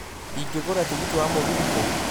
Ingĩgũra tigiti wa mũgithi kũ